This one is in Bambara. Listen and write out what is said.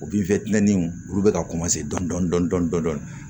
O olu bɛ ka dɔn dɔndɔn dɔn dɔn dɔn dɔn dɔn